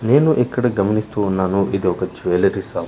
నేను ఇక్కడ గమనిస్తూ ఉన్నాను ఇది ఒక జువెలరీ షాప్ .